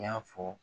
I y'a fɔ